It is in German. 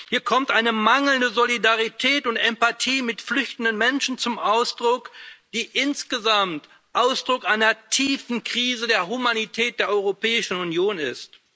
Hier kommt eine mangelnde Solidarität und Empathie mit flüchtenden Menschen zum Ausdruck, die insgesamt Ausdruck einer tiefen Krise der Humanität der Europäischen Union ist.